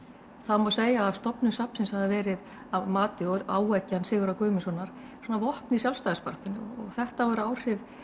það má segja að stofnun safnsins hafi verið að mati og áeggjan Sigurðar Guðmundssonar svona vopn í sjálfstæðisbaráttunni og þetta voru áhrif